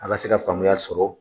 A ka se ka faamuya sɔrɔ